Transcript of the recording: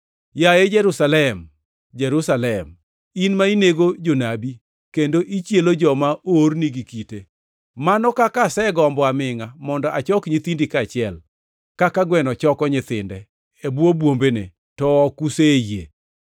“Yaye Jerusalem, Jerusalem, in ma inego jonabi kendo ichielo joma oorni gi kite! Mano kaka asegombo amingʼa mondo achok nyithindi kaachiel, kaka gweno choko nyithinde e bwo bwombene, to ok useyie.